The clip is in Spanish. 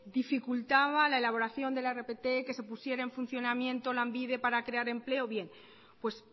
dificultaba la elaboración de la rpt que se pusiera en funcionamiento lanbide para crear empleo pues